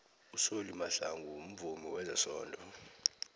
usolly mahlangu mvumi wezesondo